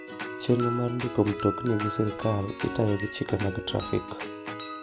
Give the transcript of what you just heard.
Chenro mar ndiko mtokni gi sirkal itayo gi chike mag trafik.